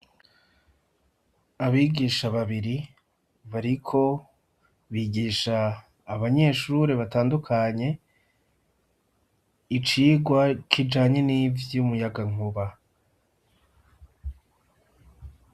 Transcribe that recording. Abigisha babiri bariko bigisha abanyeshure batandukanye icigwa kijanye n'ivy'umuyagankuba.